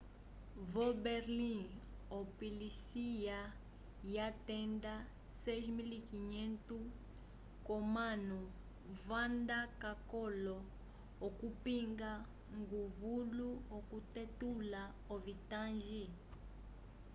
vo-berlim opolisiya yatenda 6.500 k'omanu vanda k'akololo okupinga nguvulu okutetulula ovitangi